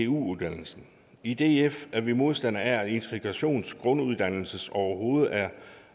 uddannelsen i df er vi modstandere af at integrationsgrunduddannelsen overhovedet er